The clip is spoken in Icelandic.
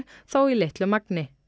þó í litlu magni